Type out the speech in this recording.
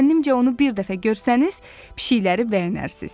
Zənnimcə onu bir dəfə görsəniz, pişiklərə bəyənərsiniz.